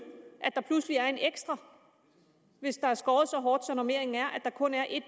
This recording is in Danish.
at der pludselig er en ekstra hvis der er skåret så hårdt så normeringen er at der kun er en